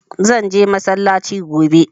Zan je masallacin gobe.